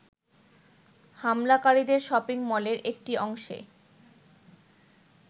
হামলাকারীদের শপিং-মলের একটি অংশে